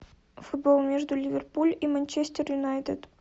футбол между ливерпуль и манчестер юнайтед